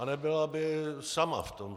A nebyla by sama v tom.